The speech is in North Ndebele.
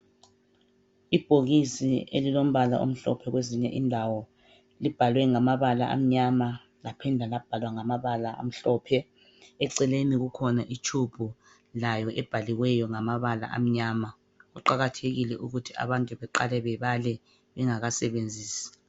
Ibhokisi elilombala omhlophe kwezinye indawo libhalwe ngamabala amnyama laphinda labhalwa ngamabala amhlophe. Eceleni kukhona itshubhu layo ebhaliweyo ngamabala amnyama. Kuqakathekile ukuthi abantu beqale bebale bengakasebenzisi.